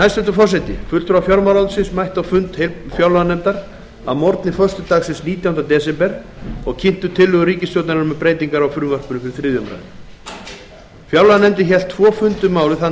fyrir löggjafarvaldinu fulltrúar fjármálaráðuneytisins mættu á fund fjárlaganefndar að morgni föstudagsins nítjánda desember og kynntu tillögur frá ríkisstjórninni um breytingar á frumvarpinu fyrir þriðju umræðu á alþingi fjárlaganefnd hélt tvo fundi um málið þann